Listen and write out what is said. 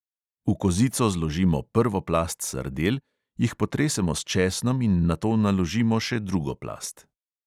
V kozico zložimo prvo plast sardel, jih potresemo s česnom in nato naložimo še drugo plast.